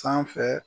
Sanfɛ